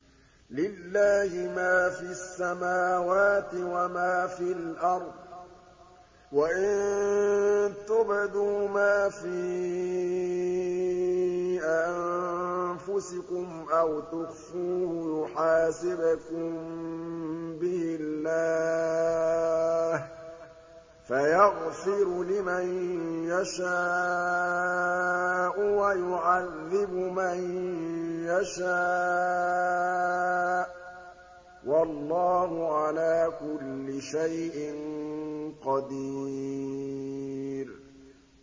لِّلَّهِ مَا فِي السَّمَاوَاتِ وَمَا فِي الْأَرْضِ ۗ وَإِن تُبْدُوا مَا فِي أَنفُسِكُمْ أَوْ تُخْفُوهُ يُحَاسِبْكُم بِهِ اللَّهُ ۖ فَيَغْفِرُ لِمَن يَشَاءُ وَيُعَذِّبُ مَن يَشَاءُ ۗ وَاللَّهُ عَلَىٰ كُلِّ شَيْءٍ قَدِيرٌ